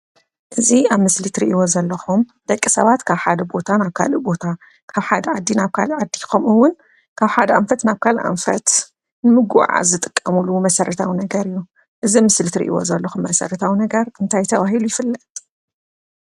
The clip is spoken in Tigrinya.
እዚ አብ ምስሊ እትሪእይዎ ዘለኩም ደቂ ሰባት ካብ ሓደ ቦታ ናብ ካሊእ ቦታ ካብ ሓደ ዓዲ ናብ ካሊእ ዓዲ ከምኡ’ውን ካብ ሓደ አንፈት ናብ ካሊአ አንፈት ንምጉዕዓዝ ዝጥቀምሉ መሰረታዊ ነገር እዩ፡፡ እዚ አብ ምሰሊ እትሪእይዎ ዘለኹም መሰረታዊ ነገር እንታይ ተባሂሉ ይፍለጥ?